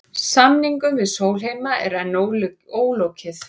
Samningum við Sólheima er enn ólokið